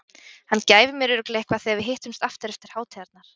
Hann gæfi mér örugglega eitthvað þegar við hittumst aftur eftir hátíðarnar.